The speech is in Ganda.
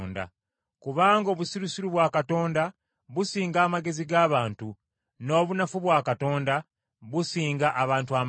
Kubanga obusirusiru bwa Katonda businga amagezi g’abantu, n’obunafu bwa Katonda businga abantu amaanyi.